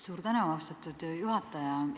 Suur tänu, austatud juhataja!